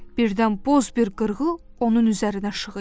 Birdən boz bir qırğı onun üzərinə şığıyır.